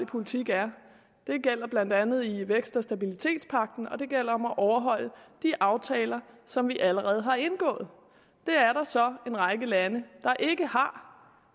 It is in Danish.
politik er det gælder blandt andet i vækst og stabilitetspagten og det gælder om at overholde de aftaler som vi allerede har indgået det er der så en række lande der ikke har